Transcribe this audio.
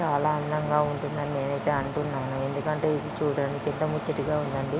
చాలా అందంగా ఉంటుంది అని నేనైతే అంటున్నాను. ఇది చుడానికైతే ముచ్చటగా ఉండండి.